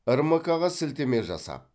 рмк ға сілтеме жасап